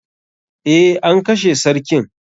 Eh, an kashe sarkin.